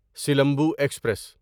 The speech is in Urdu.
سلمبو ایکسپریس